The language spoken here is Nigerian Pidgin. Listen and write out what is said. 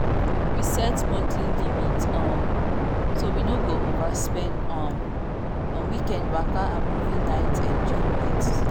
we set monthly limit um so we no go overspend um on weekend waka and movie night enjoyments.